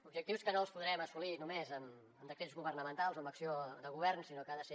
objectius que no els podrem assolir només amb decrets governamentals o amb acció de govern sinó que ha de ser